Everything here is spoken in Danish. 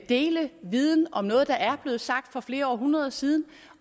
dele viden om noget der er blevet sagt for flere århundreder siden